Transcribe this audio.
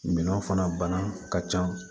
Minɛnw fana bana ka ca